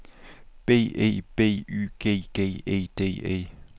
B E B Y G G E D E